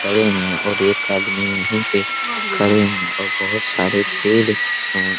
खड़े है और एक आदमी यही पे खड़े है बहुत सारे पेड़ है|